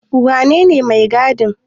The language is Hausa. Wanene mai gadin?